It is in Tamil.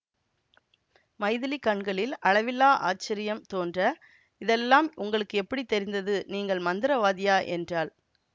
மைதிலி கண்களில் அளவிலா ஆச்சரியம் தோன்ற இதெல்லாம் உங்களுக்கு எப்படி தெரிந்தது நீங்கள் மந்திரவாதியா என்றாள்